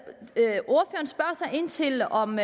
ind til om